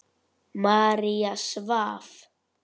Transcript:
María svaf.